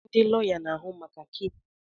Ndị lọya na-ahụ maka keesi.